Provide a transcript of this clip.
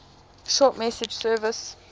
short message service